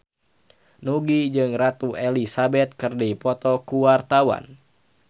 Nugie jeung Ratu Elizabeth keur dipoto ku wartawan